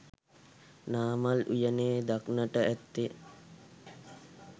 නාමල් උයනේ දක්නට ඇත්තේ